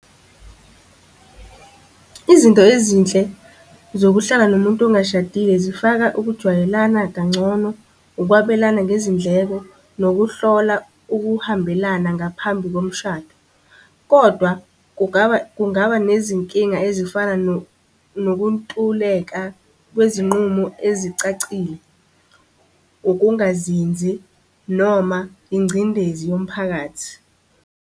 Izinto ezinhle zokuhlala nomuntu ongashadile zifaka ukujwayelana kangcono, ukwabelana ngezindleko, nokuhlola ukuhambelana ngaphambi komshado. Kodwa kungaba kungaba nezinkinga ezifana nokuntuleka kwezinqumo ezicacile, ukungazinzi noma ingcindezi yomphakathi.